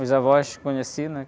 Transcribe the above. Os avós, conheci, né?